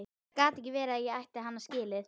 Það gat ekki verið að ég ætti hann skilið.